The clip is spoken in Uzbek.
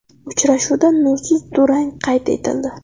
Uchrashuvda nursiz durang qayd etildi.